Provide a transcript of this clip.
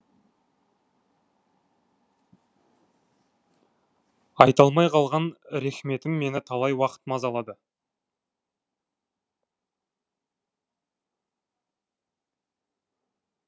айта алмай қалған рехметім мені талай уақыт мазалады